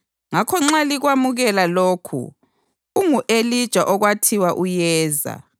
Ngakho nxa likwamukela lokhu, ungu-Elija okwathiwa uyeza.